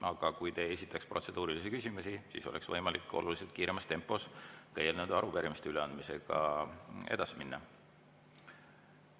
Aga kui te ei esitaks protseduurilisi küsimusi, siis oleks võimalik oluliselt kiiremas tempos eelnõude ja arupärimiste üleandmisega edasi minna.